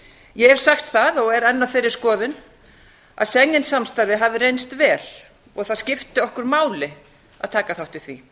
ég hef sagt það og er enn á þeirri skoðun að schengen samstarfið hafi reynst vel og það skipti okkur máli að taka þátt í því